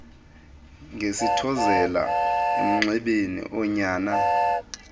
ngesithezela emnxebeni unyana